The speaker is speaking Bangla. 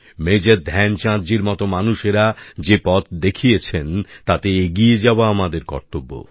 মেজর ধ্যানচাঁদ জির মত মানুষেরা যে পথ দেখিয়েছেন তাতে এগিয়ে যাওয়া আমাদের কর্তব্য